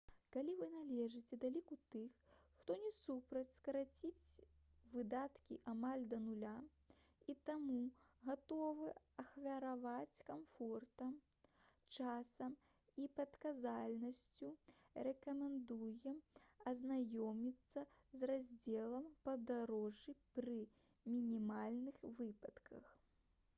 калі вы належыце да ліку тых хто не супраць скараціць выдаткі амаль да нуля і таму гатовы ахвяраваць камфортам часам і прадказальнасцю рэкамендуем азнаёміцца з раздзелам «падарожжы пры мінімальных выдатках»